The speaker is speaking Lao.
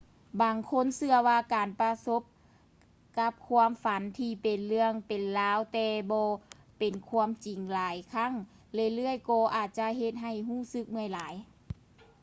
ບາງຄົນເຊື່ອວ່າການປະສົບກັບຄວາມຝັນທີ່ເປັນເລື່ອງເປັນລາວແຕ່ບໍ່ເປັນຄວາມຈິງຫຼາຍຄັ້ງເລື້ອຍໆກໍອາດຈະເຮັດໃຫ້ຮູ້ສຶກເມື່ອຍຫຼາຍ